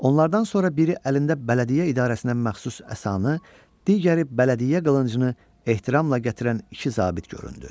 Onlardan sonra biri əlində bələdiyyə idarəsinə məxsus əsanı, digəri bələdiyyə qılıncını ehtiramla gətirən iki zabit göründü.